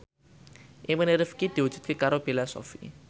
impine Rifqi diwujudke karo Bella Shofie